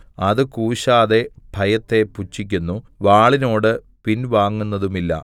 അത് കൂശാതെ ഭയത്തെ പുച്ഛിക്കുന്നു വാളിനോട് പിൻവാങ്ങുന്നതുമില്ല